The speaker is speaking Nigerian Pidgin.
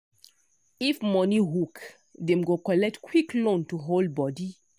if money hook dem go collect quick loan to hold body.